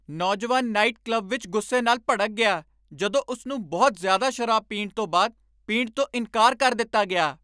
ਨੌਜਵਾਨ night club ਵਿੱਚ ਗੁੱਸੇ ਨਾਲ ਭੜਕ ਗਿਆ ਜਦੋਂ ਉਸ ਨੂੰ ਬਹੁਤ ਜ਼ਿਆਦਾ ਸ਼ਰਾਬ ਪੀਣ ਤੋਂ ਬਾਅਦ ਪੀਣ ਤੋਂ ਇਨਕਾਰ ਕਰ ਦਿੱਤਾ ਗਿਆ।